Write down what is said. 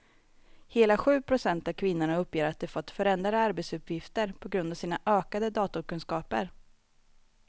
Hela sju procent av kvinnorna uppger att de fått förändrade arbetsuppgifter på grund av sina ökade datorkunskaper.